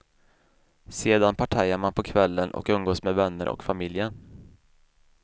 Sedan partajar man på kvällen och umgås med vänner och familjen.